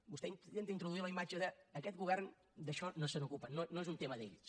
vostè intenta introduir la imatge de aquest govern d’això no se n’ocupa no és un tema d’ells